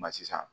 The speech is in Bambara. Ma sisan